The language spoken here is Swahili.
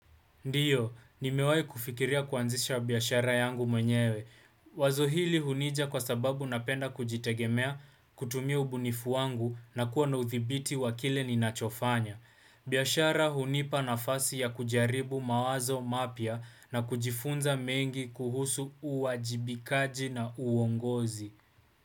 Ndio, nimewai kufikiria kuanzisha biashara yangu mwenyewe. Wazo hili hunija kwa sababu napenda kujitegemea kutumia ubunifu wangu na kuwa na uthibiti wakile ninachofanya. Biashara hunipa nafasi ya kujaribu mawazo mapya na kujifunza mengi kuhusu uajibikaji na uongozi.